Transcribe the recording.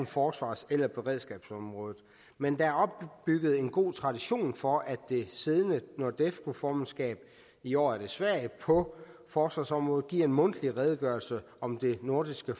forsvars eller beredskabsområdet men der er opbygget en god tradition for at det siddende nordefco formandskab i år er det sverige på forsvarsområdet giver en mundtlig redegørelse om det nordiske